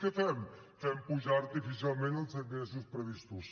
què fem fem pujar artificialment els ingressos previstos